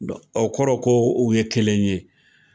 Dɔ ɔ kɔrɔ ko u ye kelen ye.